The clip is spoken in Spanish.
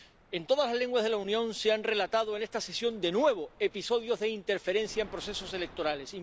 En todas las lenguas de la Unión se han relatado en esta sesión, de nuevo, episodios de interferencia en procesos electorales.